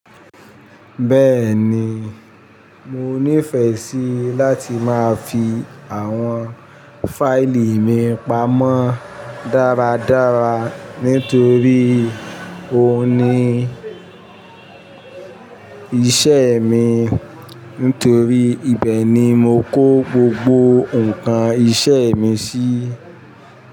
Bẹ́ẹ̀ni, mo nífẹẹ sí láti máa fi àwọn fáìlì mi pamọ́ dáradára nítorí òun ni iṣẹ́ mi, nítorí ibẹ̀ ni mo kó gbogbo nǹkan iṣẹ́ mi sí.